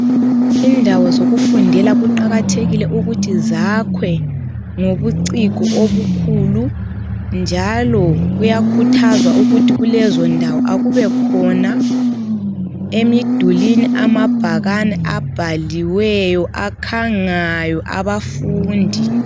Indawo zokufundela kuqakathekile ukuthi zakhwe ngobuciko obukhulu, njalo kuyakhuthazwa ukuthi kulezondawo, kakubekhona emidulwini, amabhakani akhangayo abafundi.